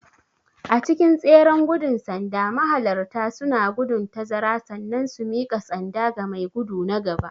A cikin tseren gudun sanda mahalarta suna gudun tazara sannan su mika sanda ga mai gudu na gaba.